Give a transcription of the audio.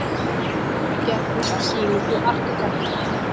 Gerði á sýningu arkitektanna.